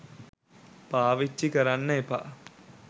පාවිච්චි කරන්න එපා